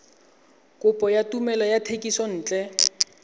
kopo ya tumelelo ya thekisontle